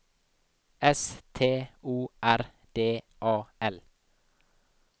S T O R D A L